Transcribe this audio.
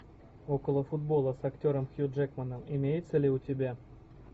около футбола с актером хью джекманом имеется ли у тебя